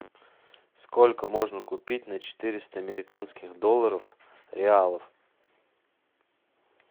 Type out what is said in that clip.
сколько можно купить на четыреста американских долларов реалов